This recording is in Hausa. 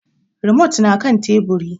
Rimot na kan Teburi.